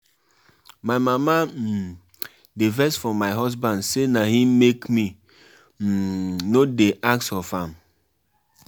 My mama um dey vex for my husband say na him make me um no dey ask of am.